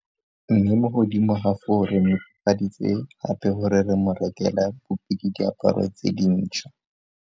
Mme mo godimo ga foo re netefaditse gape gore re mo rekela bupi le diaparo tse dintšhwa.